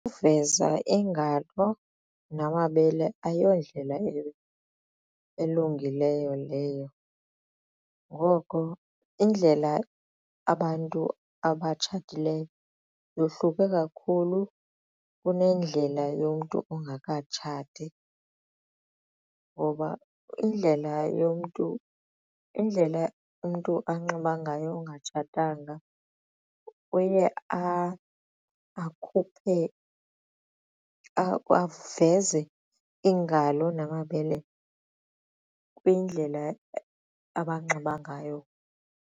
Ukuveza iingalo namabele ayondlela elungileyo leyo ngoko indlela abantu abatshatileyo yohluke kakhulu kunendlela yomntu ongakatshati ngoba indlela yomntu indlela umntu anxiba ngayo ongatshatanga uye akhuphe aveze iingalo namabele kwindlela abanxiba ngayo.